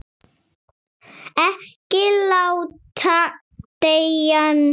Ekki láta deigan síga.